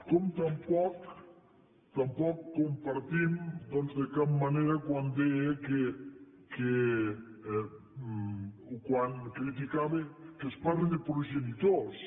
com tampoc tampoc compartim doncs de cap manera quan deia quan criticava que es parli de progenitors